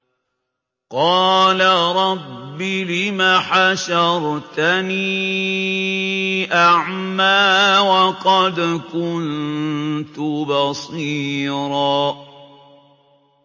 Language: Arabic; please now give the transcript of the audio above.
قَالَ رَبِّ لِمَ حَشَرْتَنِي أَعْمَىٰ وَقَدْ كُنتُ بَصِيرًا